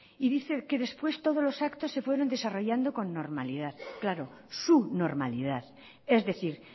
y dice que después todos los actos se fueron desarrollando con normalidad claro su normalidad es decir